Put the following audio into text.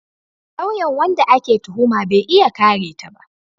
Lauyan wanda ake tuhuma bai iya kare ta ba